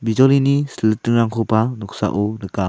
bijolini sil ritingrangkoba noksao nika.